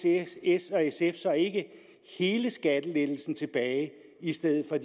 s s og sf så ikke hele skattelettelsen tilbage i stedet for